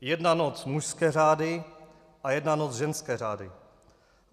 Jedna noc mužské řády a jedna noc ženské řády.